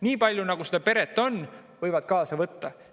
Niipalju, kui seda peret on, võivad nad kaasa võtta.